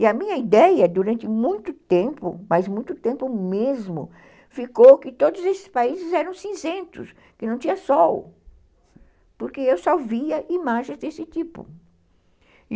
E a minha ideia, durante muito tempo, mas muito tempo mesmo, ficou que todos esses países eram cinzentos, que não tinha sol, porque eu só via imagens desse tipo.